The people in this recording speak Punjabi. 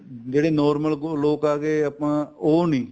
ਜਿਹੜੀ normal ਲੋਕ ਆ ਗਏ ਆਪਾਂ ਉਹ ਨੀ